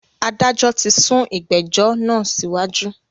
Adájọ tí sún ìgbẹ̀jọ́ náà síwájú.